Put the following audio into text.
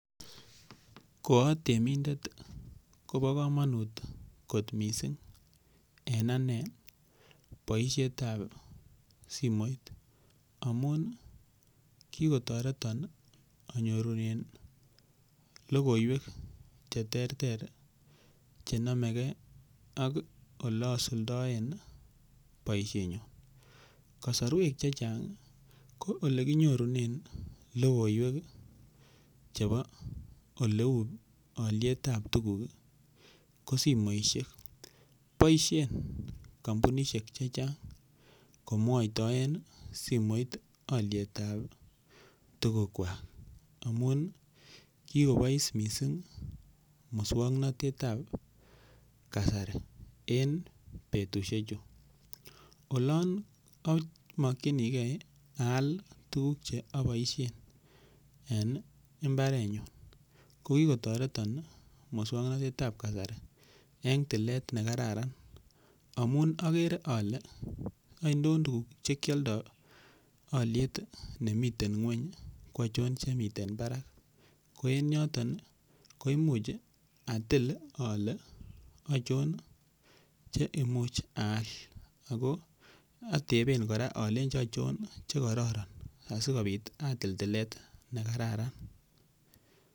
Ko atemindet Kobo komonut kot mising en ane boishet ap simoit amun kikotoreton anyorunen lokoiwek che ter ter chenomeke ak ole asuldaen boishetnyu kosorwek che chang ko olekinyorune lokoiwek chebo oleu oliet ap tukuk ko simoishek boishen komputaishek che chang komwoitoen simoit oliet ap tukuk kwach amun kikobois mising muswongnotet ap kasari en betushek chu olon amakchinike aal tukuk che aboishen en imbaret nyu ko kikotoreton muswongnotet ap kasari eng tilet nekararan amun akere ale ainon tukuk chekialdaie aliet nemiten ng'weny ko achon chemiten barak ko eng yoton koimuch atil ale achon cheimuch aal ako atepen kora alenchi achon che kororon asikobit atil tilet nekararan.